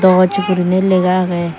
ranga gosse goriney lega agey.